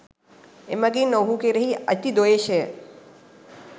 එමගින් ඔහු කෙරෙහි ඇති ද්වේශය